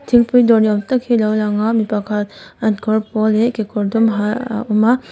thingpui dawr ni awm tak hi a lo lang a mi pakhat an kawr pawl leh kekawr dum ha aah aa awm a.